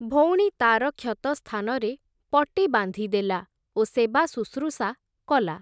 ଭଉଣୀ ତା’ର କ୍ଷତ ସ୍ଥାନରେ ପଟି ବାନ୍ଧିଦେଲା, ଓ ସେବାଶୁଶ୍ରୂଷା କଲା ।